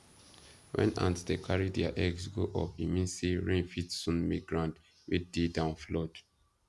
when ants dey carry their eggs go up e mean say rain fit soon make ground wey dey down flood